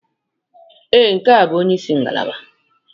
Ee, nke a bụ onye isi ngalaba.